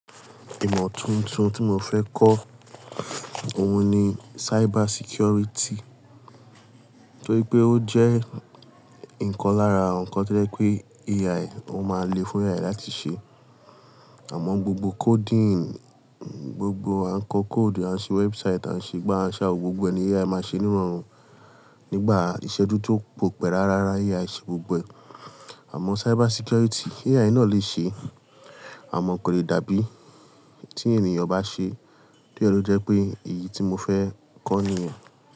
Ìmọ̀ tuntun tí mo fẹ́ kọ́ òun ni cyber security. Torí pé ó jẹ́ nǹkan lára nǹkan tí ó je pé AI ó máa le fún wa láti ṣe. Àmọ́ gbogbo coding, gbogbo àǹkóò code, àǹṣè website, àǹṣè gbá, àǹṣè òwò gbogbo ẹni AI máa ṣe nírọ̀rùn nígbà àìṣẹ́jú tó kò pẹ́ rárá rárá AI ṣe gbogbo. Àmọ́ cyber security AI náà lè ṣe, àmọ́ kò le dàbí tí ènìyàn bá ṣe. Bí ẹ ló jẹ́ pé èyí tí mo fẹ́ kọ́ nìyẹn.